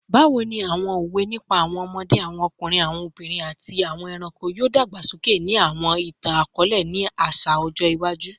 Bawo ni awọn owe nipa awọn ọmọde, awọn ọkunrin, awọn obinrin, ati awọn ẹranko yoo dagbasoke ni awọn itan-akọọlẹ aṣa ni ọjọ iwaju?